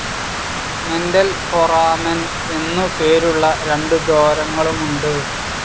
Mental foramen എന്നുപേരുള്ള രണ്ടു ദ്വാരങ്ങളുമുണ്ട്.